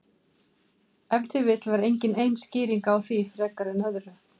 Ef til vill var engin ein skýring á því frekar en öðru.